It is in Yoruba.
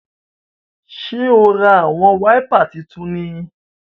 Ṣe o rá awọn waipà títún ní?